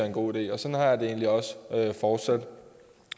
en god idé og sådan har jeg det egentlig også fortsat